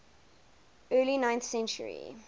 early ninth century